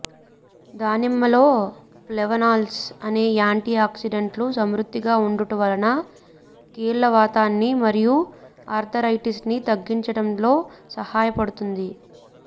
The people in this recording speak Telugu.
దానిమ్మలో ఫ్లేవనాల్స్ అనే యాంటీఆక్సిడెంట్లు సమృద్ధిగా ఉండుట వలన కీళ్లవాతాన్ని మరియు ఆర్థరైటిస్ ని తగ్గించటంలో సహాయపడుతుంది